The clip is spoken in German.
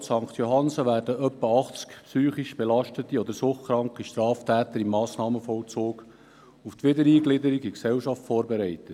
In dieser JVA werden rund 80 psychisch belastete oder suchtkranke Straftäter im Massnahmenvollzug auf die Wiedereingliederung in die Gesellschaft vorbereitet.